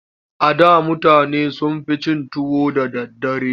A da mutane sun fi cin tuwo da daddare.